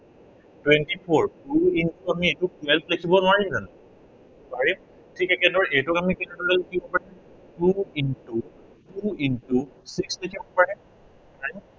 twenty four, two into আমি এইটো twelve লিখিব নোৱৰিম জানো? পাৰিম। ঠিক একেদৰে এইটোক আমি কেনেদৰে লিখিব পাৰিম। two into, two into এইদৰে লিখিব পাৰে, পাৰেনে?